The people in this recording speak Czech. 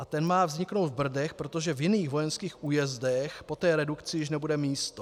A ten má vzniknout v Brdech, protože v jiných vojenských újezdech po té redukci už nebude místo.